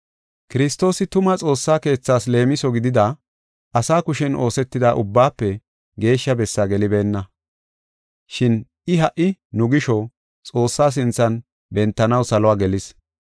Kiristoosi tuma Xoossa keethaas leemiso gidida, asa kushen oosetida Ubbaafe Geeshsha Bessaa gelibeenna. Shin I ha77i nu gisho, Xoossaa sinthan bentanaw saluwa gelis.